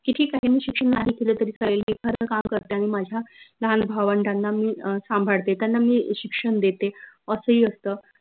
की मी शिक्षन नाही केलं तरी चालेल एखाद काम करते आनि माझ्या लाहान भावंडांना मी अं संभाडते त्यांना मी शिक्षन देते असं ही असत